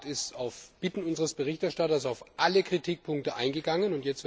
Der Rat ist auf Bitten unseres Berichterstatters auf alle Kritikpunkte eingegangen.